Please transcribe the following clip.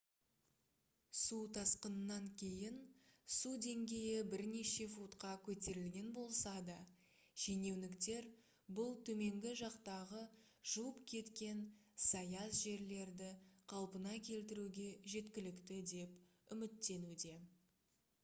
су тасқынынан кейін су деңгейі бірнеше футқа көтерілген болса да шенеуніктер бұл төменгі жақтағы жуып кеткен саяз жерлерді қалпына келтіруге жеткілікті деп үміттенуде